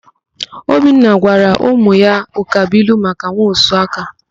Obinna gwara ụmụ ya ụkabụilu maka nwaosuaka.